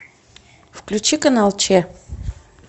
включи канал че